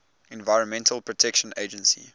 environmental protection agency